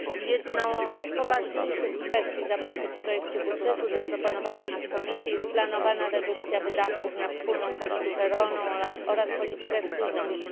Jedną z poważniejszych kwestii zawartych w projekcie budżetu zaproponowanym przez Komisję jest planowana redukcja wydatków na wspólną politykę rolną oraz politykę spójności.